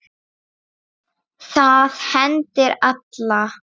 Það hendir alla